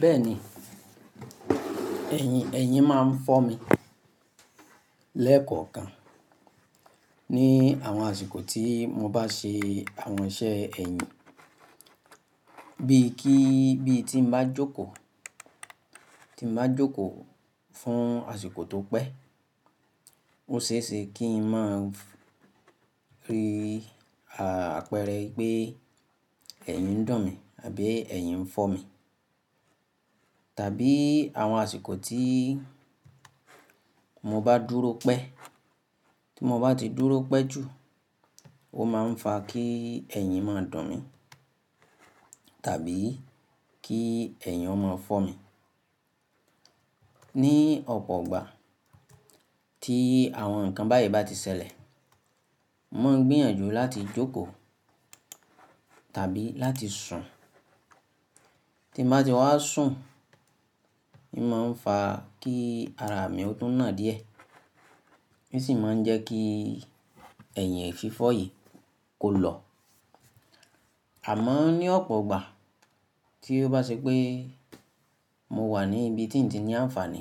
Bẹ́ẹ̀ni, ẹ̀yìn, ẹ̀yìn máa ń fọ́ mi lẹ́ẹ̀kọ̀kan ní àwọn àsìkò tí mo bá se àwọn iṣẹ́ ẹ̀yìn bíi kí, bí tí m bá jókòó, tí m bá jókòó fún àsìkò tó pẹ́. Ó ṣe é ṣe kí n máa rí àpẹẹrẹ pé ẹ̀yìn dún mi àbí ẹ̀yìn fọ́ mi. Tàbí àwọn àsìkò tí mo bá dúró pẹ́, tí mo bá ti dúró pẹ́ jù, ó máa ń fa kí ẹ̀yìn máa dún mi tàbí kí ẹ̀yìn o máa fọ́ mi. Ní ọ̀pọ̀ igbà tí àwọn nǹkan báyìí bá ti ṣẹlẹ̀, mo ń gbìyànjú láti jókòó tàbí láti sùn. Tí m bá ti wá sùn, ì máa ń fa kí ara mi ó tún nà díẹ̀, n sì máa ń jẹ́ kí ẹ̀yìn fífọ́ yìí kó lọ. Àmọ́ ní ọ̀pọ̀ igbà tí ó bá ṣe pé mo wà ní ibi tí ǹ ti ní àǹfààní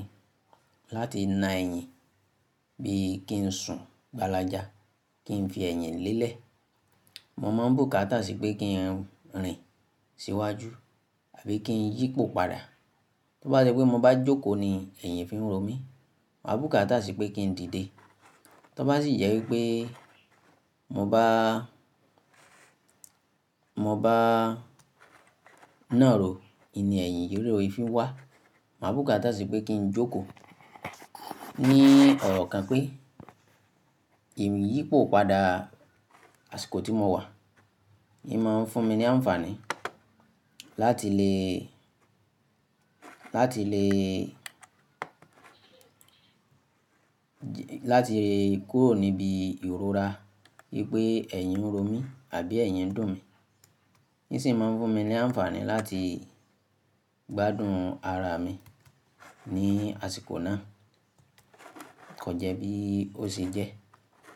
láti na ẹ̀yìn bí i kí n sùn gbálajá, kí n fi ẹ̀yìn lélẹ̀. Mo máa ń bùkátà sí i pé kí n rìn síwájú àbí kí n yípo padà. Tó bá ṣe pé mo bá jókòó ni ẹ̀yìn fi ń ro mí, màá bùkátà sí i pé kí n dìde. Tó bá sì jẹ́ wípé mo bá, mo bá nàró, ì ní ẹ̀yìn ye ro i fi wá. Màá bùkátà sí i pé kí n jókòó. Ni ọ̀rọ̀ kan pé ìmi yípo padà àsìkò tí mo wà, ì máa ń fún mi ní àǹfààní láti lè, láti lè, láti kúrò níbi ìrora wípé ẹ̀yìn ń ro mí àbí ẹ̀yìn dún mi. Yí sì máa ń fún mi ní àǹfààní láti gbádùn ara mi ní àsìkò náà. Kò jẹ́ bí ó ṣe jẹ́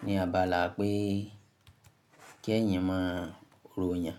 ní abala pé kí ẹ̀yìn máa róyàn.